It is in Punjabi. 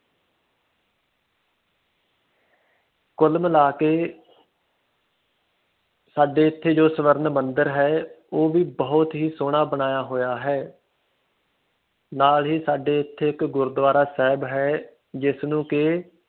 ਕੁਲ ਮਿਲਾ ਕੇ ਸਾਡੇ ਇਥੇ ਜੋ ਸਵਰਨ ਮੰਦਿਰ ਹੈ ਉਹ ਵੀ ਬਹੁਤ ਹੀ ਸੋਹਣਾ ਬਣਾਇਆ ਹੋਇਆ ਹੈ ਨਾਲ ਹੀ ਸਾਡੇ ਇਥੇ ਇੱਕ ਗੁਰੂਦਵਾਰਾ ਸਾਹਿਬ ਹੈ ਜਿਸ ਨੂੰ ਕਿ